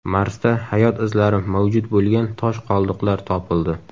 Marsda hayot izlari mavjud bo‘lgan tosh qoldiqlar topildi.